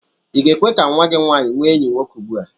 I ga-ekwe ka nnwa gị nwaanyị nwee enyi nwoke ugbu a?